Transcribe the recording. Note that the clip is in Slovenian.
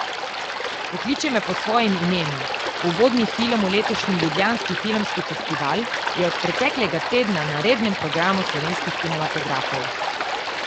Pokliči me po svojem imenu, uvodni film v letošnji Ljubljanski filmski festival, je od preteklega tedna na rednem programu slovenskih kinematografov.